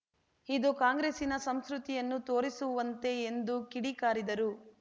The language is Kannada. ಇದು ಕಾಂಗ್ರೆಸ್ಸಿನ ಸಂಸ್ಕೃತಿಯನ್ನು ತೋರಿಸುವಂತೆ ಎಂದು ಕಿಡಿಕಾರಿದರು